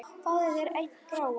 Fáðu þér einn gráan!